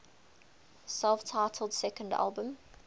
self titled second album